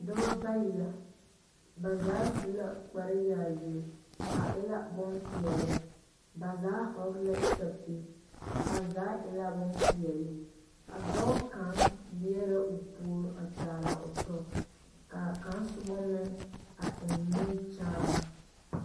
Noba bayi la. Ba zaa su la kpareyaayi naŋ waa peɛle kyɛ ka ba zaa vɔgle sapilpeɛle. A dɔɔ kaŋ leɛ la o puore a kyaaraa o tɔ na kyɛ ka kaŋ meŋ eŋ nimikyaane.